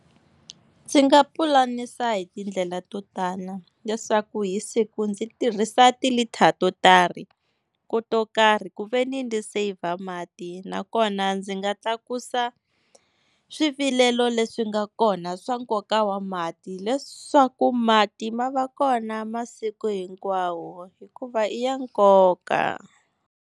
Ndzi nga pulanisa hi tindlela to tala leswaku hi siku ndzi tirhisa ti-litre to tarhi, to karhi ku veni ndzi saver mati. Nakona ndzi nga tlakusa swivilelo leswi nga kona swa nkoka wa mati leswaku mati ma va kona masiku hinkwawo hikuva i ya nkoka.